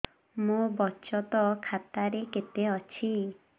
ମୋ ବଚତ ଖାତା ରେ କେତେ ଅଛି